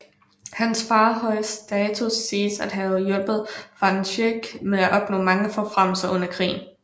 Hans fars høje status siges at have hjulpet van Schaick med at opnå mange forfremmelser under krigen